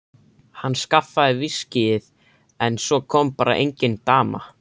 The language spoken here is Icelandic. Hann skaffaði viskíið en svo kom bara engin dama.